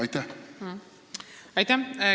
Aitäh!